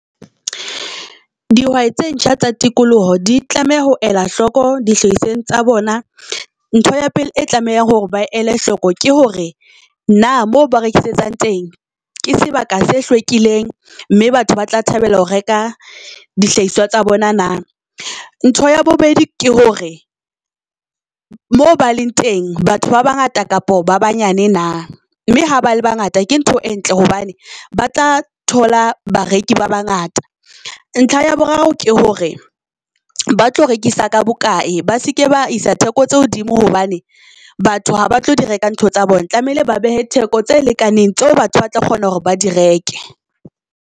Dihwai tse ntjha tsa tikoloho di tlameha ho ela hloko di hlahisweng tsa bona. Ntho ya pele e tlamehang hore ba ele hloko ke hore na moo ba rekisetsang teng ke sebaka se hlwekileng mme batho ba tla thabela ho reka dihlahiswa tsa bona na. Ntho ya bobedi ke hore mo ba leng teng batho ba ba ngata kapa ba banyane na mme ha ba le ba ngata, ke ntho e ntle hobane ba tla thola bareki ba ba ngata. Ntlha ya boraro ke hore ba tlo rekisa ka bokae, ba seke ba isa theko tse hodimo hobane batho ha ba tlo di reka ntho tsa bona tlamehile ba behe theko tse lekaneng, tseo batho ba tla kgona hore ba di reke.